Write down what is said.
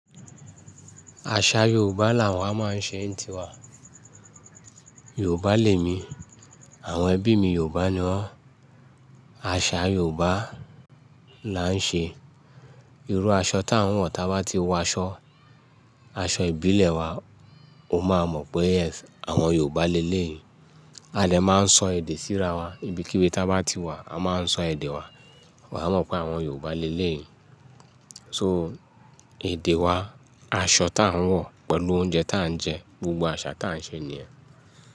Àṣà Yorùbá làwa máa ń ṣe n tiwa. Yorùbá lè mi, àwọn ẹbí mi Yorùbá ni wọ́n. Àṣà Yorùbá là ń ṣe. Irú aṣọ tí à ń wọ̀, ta bá ti wọ aṣọ, aṣọ ìbílẹ̀ wa, o máa mọ̀ pé, yes àwọn Yorùbá le léyì. A dè máa ń sọ èdè sí ara wa ibikíbi tá bá ti wà a máa ń sọ èdè wa, awọ́n eeyan á mọ̀ pé àwọn Yorùbá le léyì So èdè wa, aṣọ tí à ń wọ̀ pẹ̀lú oúnjẹ tí à ń jẹ, gbogbo àṣà tí à ń ṣe nìyen.